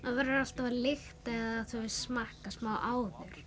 verður alltaf að lykta eða smakka smá áður